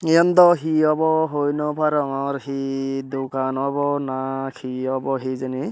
yan daw hi obo hoi naw parongor hi dukan obo na hi obo hijeni.